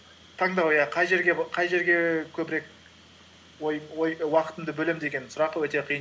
таңдау иә қай жерге көбірек уақытымды бөлемін деген сұрақ өте қиын